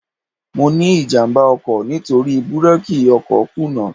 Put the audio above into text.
Mo ní ìjàmbá ọkọ̀ nítorí búrákì ọkọ̀ kùnà.